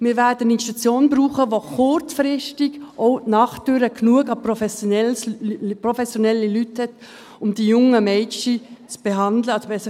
Wir werden eine Institution brauchen, die kurzfristig auch nachts genügend professionelle Leute hat, um die jungen Mädchen zu betreuen.